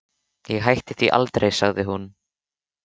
Ég hætti því aldrei, sagði hún.